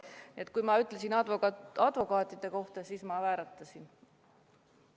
Nii et kui ma rääkisin advokaatidest, siis mul keel vääratas.